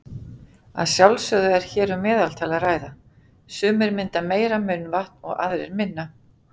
Að sjálfsögðu er hér um meðaltal að ræða, sumir mynda meira munnvatn og aðrir minna.